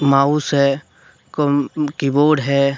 Mouse है कम keyboard है।